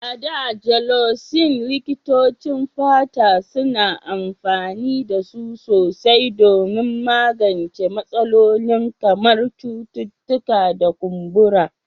A da, Gelocin, likitocin fata suna amfani da su sosai don magance matsalolin kamar cututtuka da kumburi.